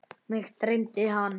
Mig dreymdi hann.